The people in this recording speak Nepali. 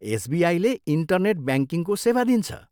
एसबिआईले इन्टरनेट ब्याङ्किङको सेवा दिन्छ।